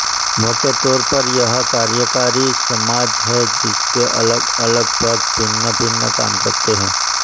मोटे तौर पर यह कार्यकारीसमाज है जिसके अलगअलग भाग भिन्नभिन्न काम करते हैं